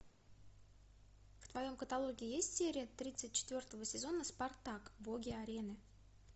в твоем каталоге есть серия тридцать четвертого сезона спартак боги арены